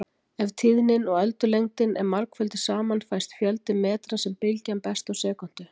Ef tíðnin og öldulengdin eru margfölduð saman fæst fjöldi metra sem bylgjan berst á sekúndu.